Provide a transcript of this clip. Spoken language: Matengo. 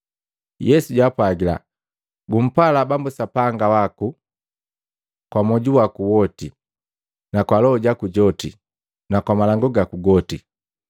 Yesu japwaga, “Gumpala Bambu Sapanga waku kwa mwoju waku woti, na kwa loho jaku joti na kwamalangu gaku goti.